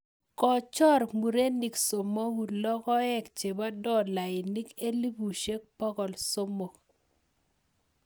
Kochor murenik somoku logoek chepo dolainik elefusiek pokol somok